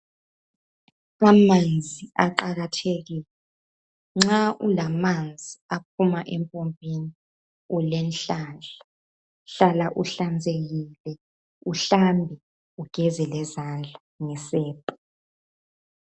Amanzi aqakathekile, nxa ulamanzi aphuma empompini ulenhlanhla. Hlala uhlanzekile, uhlambe ugeze lezandla ngesepa.